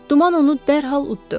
Duman onu dərhal utdu.